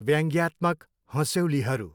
व्याङ्ग्यात्मक हँस्यौलीहरू।